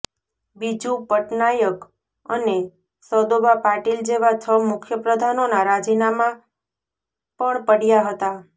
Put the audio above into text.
બીજુ પટનાયક અને સદોબા પાટીલ જેવા છ મુખ્યપ્રધાનોના રાજીનામાં પણ પડ્યાં હતાં